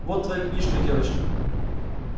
вот твоя книжка девочка